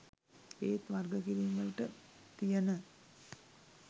ඒත් වර්ග කිරීම් වලට තියන